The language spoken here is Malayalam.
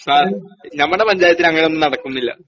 സാർ ഞമ്മടെ പഞ്ചായത്തിലങ്ങനൊന്നും നടക്കുന്നില്ല.